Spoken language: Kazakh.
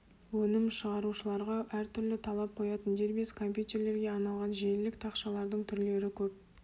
өнім шығарушыларға әртүрлі талап қоятын дербес компьютерлерге арналған желілік тақшалардың түрлері көп